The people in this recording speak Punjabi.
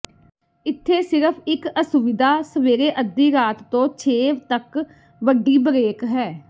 ਇੱਥੇ ਸਿਰਫ ਇੱਕ ਅਸੁਵਿਧਾ ਸਵੇਰੇ ਅੱਧੀ ਰਾਤ ਤੋਂ ਛੇ ਤੱਕ ਵੱਡੀ ਬਰੇਕ ਹੈ